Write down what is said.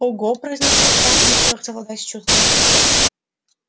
ого произношу я не в силах совладать с чувствами